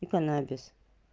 и канабис